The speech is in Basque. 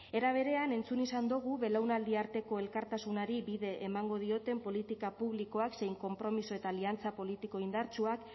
era berean entzun izan dogu belaunaldi arteko elkartasunari bide emango dioten politika publikoak zein konpromiso eta aliantza politiko indartsuak